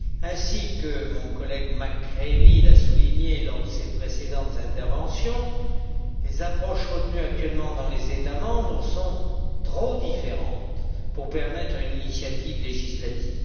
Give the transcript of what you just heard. Ainsi que mon collègue McCreevy l'a souligné lors de ses précédentes interventions, les approches retenues actuellement dans les États membres sont trop différentes pour permettre une initiative législative.